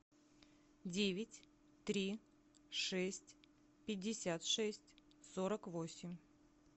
девять три шесть пятьдесят шесть сорок восемь